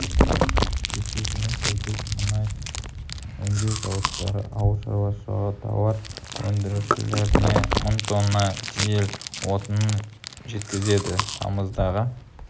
кестесіне сәйкес мұнай өңдеу зауыттары ауыл шаруашылығы тауар өндірушілеріне мың тонна дизель отынын жеткізеді тамыздағы